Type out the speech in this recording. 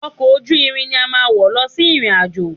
Ọkọ̀ ojú irin ni a máa wọ̀ lọ sí ìrìn-àjò